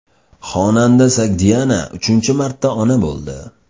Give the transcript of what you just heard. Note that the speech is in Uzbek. Xonanda Sogdiana uchinchi marta ona bo‘ldi.